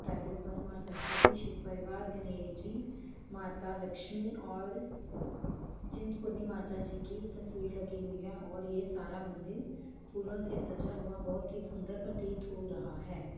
टाइलों पर माँ सरसवती शिव परिवार गणेश जी माता लक्ष्मी और चिंत पूर्ण माता जी की तस्वीर लगी हुई है और ये सारा मंदिर फूलों से सजा हुआ है बहुत ही सुन्दर प्रतीत हो रहा है।